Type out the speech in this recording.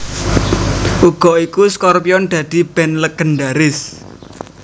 Uga iku Scorpions dadi band legendharis